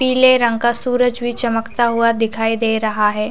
पीले रंग का सूरज भी चमकता हुआ दिखाई दे रहा है।